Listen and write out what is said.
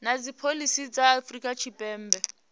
na dzipholisi dza afrika tshipembe